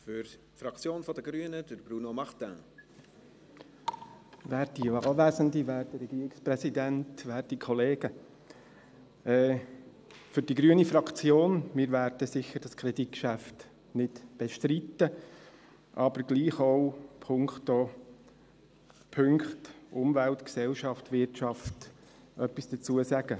Für die grüne Fraktion: Wir werden dieses Kreditgeschäft sicher nicht bestreiten, aber zu den Punkten Umwelt, Gesellschaft, Wirtschaft möchten wir trotzdem etwas sagen.